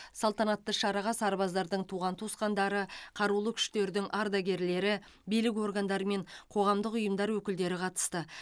салтанатты шараға сарбаздардың туған туысқандары қарулы күштердің ардагерлері билік органдары мен қоғамдық ұйымдар өкілдері қатысты